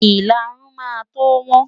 Ìlarun máa tó wọ́n.